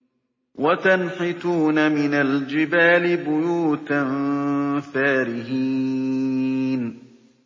وَتَنْحِتُونَ مِنَ الْجِبَالِ بُيُوتًا فَارِهِينَ